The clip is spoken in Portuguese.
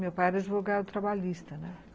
Meu pai era advogado trabalhista, né.